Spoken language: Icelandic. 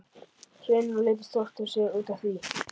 Hrauninu og lítur stórt á sig út af því.